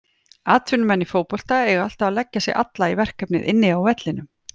Atvinnumenn í fótbolta eiga alltaf að leggja sig alla í verkefnið inni á vellinum.